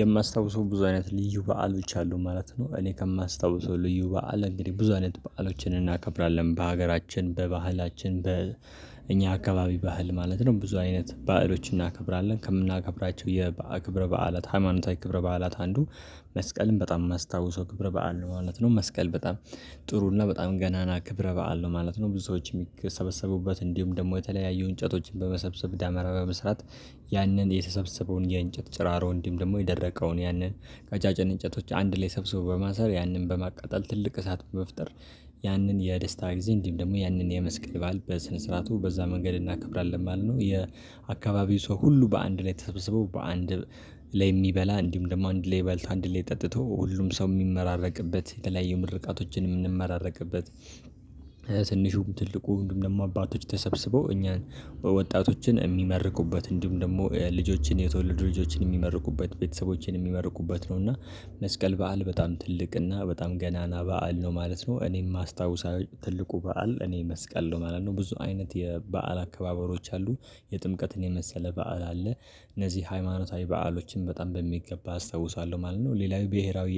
የማስታውሰው ብዙ አይነት ልዩ በዓሎች አሉ ማለት ነው። እኔ ከማስታውሰው ልዩ በዓል እንግዲህ ብዙ አይነት በዓሎችን እናከብራለን በሀገራችን በባህላችን በእኛ አካባቢ ባህል ማለት ነው። ብዙ አይነት ባዕሎችን እናከብራለን ከምናከብራቸው። ክብረ በዓላት ሃይማኖታዊ ክብረ በዓላት አንዱ መስቀልም በጣም የማስታውሰው ክብር በዓል ነው ማለት ነው። መስቀል በጣም ጥሩ እና በጣም ገናና ክብረ በዓል ነው ማለት ነው። ብዙ ሰዎች የሚሰበሰቡበት እንዲሁም ደግሞ የተለያየ እንጨቶችን በመሰብሰብ ዳመራ በመስራት። ያንን የተሰብሰበውን የእንጨት ጭራሮ እንዲም ደግሞ የደረቀውን ያንን ቀጫጫን እንጨቶች አንድ ላይ ሰብስቦ በማሰር ያንን በማቃጠል ትልቅ እሳት በመፍጠር። ያንን የደስታ ጊዜ እንዲሁም ደግሞ ያንን የመስቀል በዓል በስነ ስርዓቱ በዛ መንገድ እናከብራለን ማለት ነው። የአካባቢው ሰው ሁሉ በአንድ ላይ ተሰብስበው በአንድ ላይ የሚበላ እንዲሁም ደግሞ አንድ ላይ በልት አንድ ላይ ጠጥቶ ሁሉም ሰው የሚመራረቅበት የተለያዩ ምርቃቶችን የምንመራረቅበት። ትንሹም ትልቁ እንዲሁም ደግሞ አባቶች ተሰብስበው እኛን በወጣቶችን የሚመርቁበት እንዲሁም ደግሞ ልጆችን የተወለዱ ልጆችን የሚመርቁበት ቤተሰቦችን የሚመርቁበት ነው። እና መስቀል በዓል በጣም ትልቅ እና በጣም ገናና በዓል ነው ማለት ነው። እኔ የማስታውሳቸው ትልቁ በዓል እኔ መስቀል ነው ማለት ነው። ብዙ አይነት የበአል አከባበሮች አሉ። የጥምቀትን የመሰለ በዓል አለ። እነዚህ ሃይማኖታዊ በአሎችን በጣም በሚገባ አስታውሳለሁ ማለት ነው። ሌላው ብሄራዊ